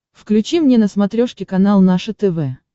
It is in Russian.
включи мне на смотрешке канал наше тв